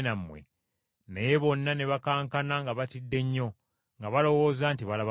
Naye bonna ne bakankana nga batidde nnyo, nga balowooza nti balaba muzimu!